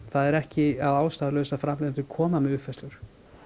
það er ekki að ástæðulausu að framleiðendur koma með uppfærslu